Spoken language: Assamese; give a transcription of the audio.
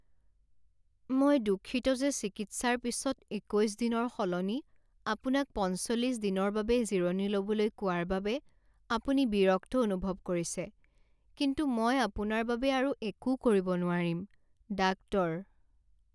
মই দুঃখিত যে চিকিৎসাৰ পিছত একৈছ দিনৰ সলনি আপোনাক পঞ্চল্লিছ দিনৰ বাবে জিৰণি ল'বলৈ কোৱাৰ বাবে আপুনি বিৰক্ত অনুভৱ কৰিছে কিন্তু মই আপোনাৰ বাবে আৰু একো কৰিব নোৱাৰিম। ডাক্তৰ